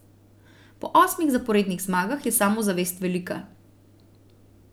Po osmih zaporednih zmagah je samozavest velika.